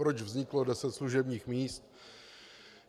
Proč vzniklo deset služebních míst.